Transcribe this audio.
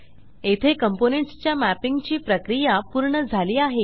येथे कॉम्पोनेंट्स च्या मॅपिंग ची प्रक्रिया पूर्ण झाली आहे